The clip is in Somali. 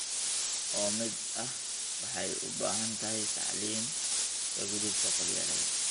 oo mid ah waxay u baahan tahay tacliin ka gudubta qabyaaladda.